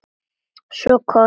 Svo koss.